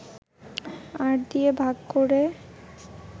৮ দিয়ে ভাগ করে